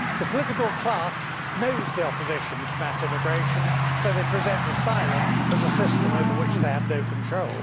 The political class knows that there is opposition to mass immigration, so they present asylum as a system over which they have no control.